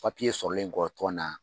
Papiye sɔrɔlen kɔ tɔn na